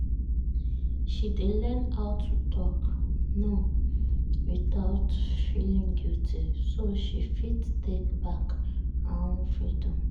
she dey learn how to talk "no" without feel guilty so she fit take back her own freedom